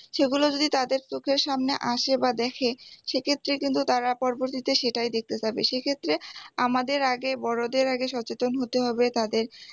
সেগুলো যদি তাদের চোখের সামনে আসে বা দেখে সেক্ষেত্রে কিন্তু তারা পরবর্তীতে সেটাই দেখতে চাইবে সেক্ষেত্রে আমাদের আগে বড়দের আগে সচেতন হতে হবে তাদের